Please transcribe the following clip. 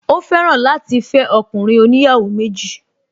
Ó fẹ́ràn láti fẹ́ ọkùnrin oníyàwó méjì